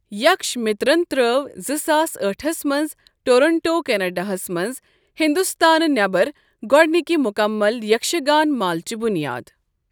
یكھش مِترن ترٛٲو زٕ ساس أٹھس منٛز ٹورنٛٹو، کیٚنڈاہس منٛز ہِنٛدستانہٕ نٮ۪بَر گۄڈنِکہ مکمل یکشگان مٲلٕچ بنیاد۔